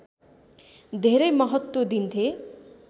धेरै महत्त्व दिन्थे